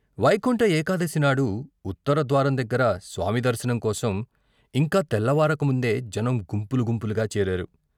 వైకుంఠ ఏకాదశినాడు, ఉత్తర ద్వారం దగ్గర స్వామి దర్శనం కోసం ఇంకా తెల్లవారకముందే జనం గుంపులు గుంపులుగా చేరారు.